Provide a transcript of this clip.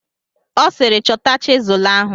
Ọ sịịrị, chọta chizụl ahụ!